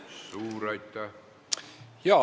Suur aitäh!